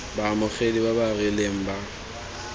baamogedi ba ba rileng ba